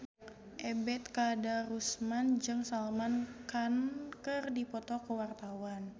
Ebet Kadarusman jeung Salman Khan keur dipoto ku wartawan